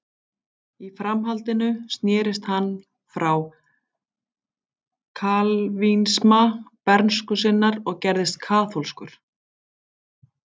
Í framhaldinu snerist hann frá kalvínisma bernsku sinnar og gerðist kaþólskur.